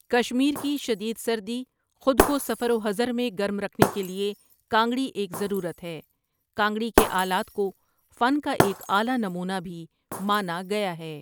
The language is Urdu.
کشمیر کی شدید سردی خود کو سفر و حضر میں گرم رکھنے کے لیے کانگڑی ایک ضرورت ہے کانگڑی کے آلات کو فن کا ایک اعلی نمونہ بھی مانا گیا ہے۔